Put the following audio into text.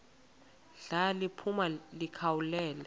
ndla liphuma likhawulele